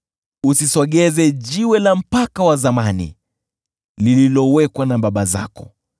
Usisogeze jiwe la mpaka wa zamani lililowekwa na baba zako.